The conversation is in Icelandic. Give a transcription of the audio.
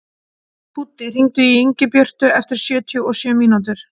Búddi, hringdu í Ingibjörtu eftir sjötíu og sjö mínútur.